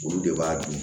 Olu de b'a dun